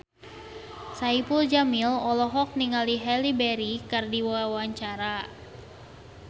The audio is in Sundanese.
Saipul Jamil olohok ningali Halle Berry keur diwawancara